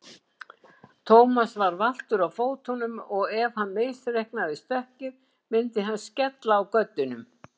Thomas var valtur á fótum og ef hann misreiknaði stökkið myndi hann skella á göddunum.